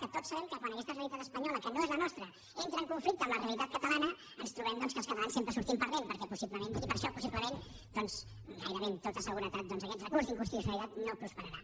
que tots sabem que quan aquesta realitat es panyola que no és la nostra entra en conflicte amb la realitat catalana ens trobem que els catalans sempre hi sortim perdent i per això possiblement gairebé amb tota seguretat aquest recurs d’inconstitucionalitat no prosperarà